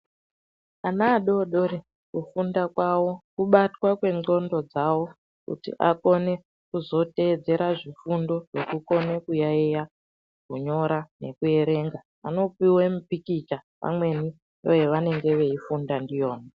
Ana adodori kufunda kwavo kubatwa kwendxondo dzavo kuti akone kuzotedzera zvifundo zvekukona kuyaeya, kunyora nekuerenga. Anopiwe mipikicha pamweni yavanenge veifunda ndiyona.